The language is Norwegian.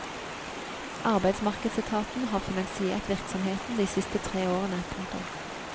Arbeidsmarkedsetaten har finansiert virksomheten de siste tre årene. punktum